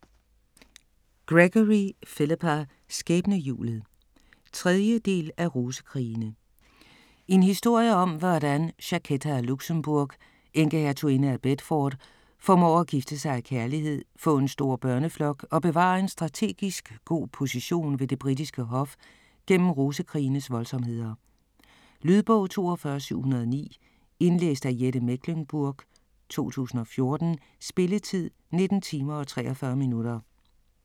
Gregory, Philippa: Skæbnehjulet 3. del af Rosekrigene. En historie om hvordan Jacquetta af Luxembourg, enkehertuginde af Bedford, formår at gifte sig af kærlighed, få en stor børneflok og bevare en strategisk god position ved det britiske hof gennem Rosekrigenes voldsomheder. Lydbog 42709 Indlæst af Jette Mechlenburg, 2014. Spilletid: 19 timer, 43 minutter.